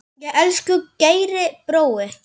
Elsku Geiri brói.